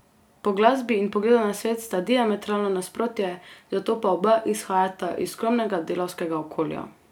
Po glasbi in pogledu na svet sta diametralno nasprotje, zato pa oba izhajata iz skromnega delavskega okolja.